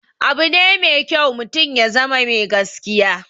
Abune mai kyau mutum ya zama mai gaskiya